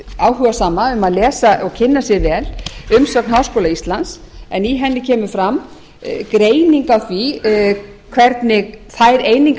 áhugasama að lesa og kynna sér vel umsögn háskóla íslands en í henni kemur fram greining á því hvernig þær einingar